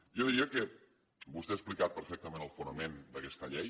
jo diria que vostè ha explicat perfectament el fonament d’aquesta llei